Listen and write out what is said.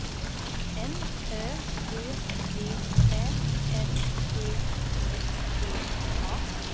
N Ö D V Ä N D I G A